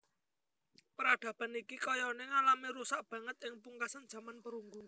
Peradaban iki kayané ngalami rusak banget ing pungkasan jaman perunggu